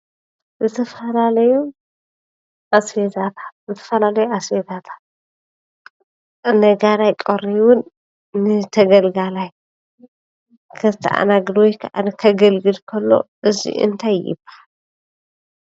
ዝተፈላለዩ ኣስቤዛታት፦ ዝተፈላለዩ ኣስቤዛታት ነጋዳይ ቀሪቡን ንተገልጋላይ ከተኣናግድ ወይ ከዓ ከገልግል ከሎ እዚ እንታይ ይበሃል?